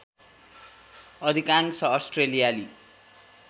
अधिकांश अस्ट्रेलियाली